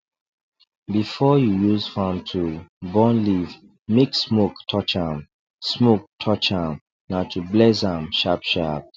before you use farm tool burn leaf make smoke touch am smoke touch am na to bless am sharpsharp